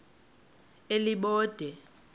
elibode